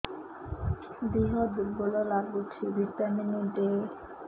ଦିହ ଦୁର୍ବଳ ଲାଗୁଛି ଭିଟାମିନ ଦେ